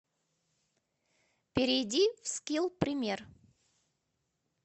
перейди в скилл пример